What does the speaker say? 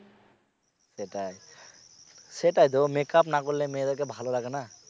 সেটাই সেটা দেখো make up না করলে মেয়েদের ভালো লাগে না